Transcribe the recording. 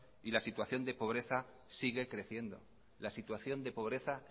y la situación de pobreza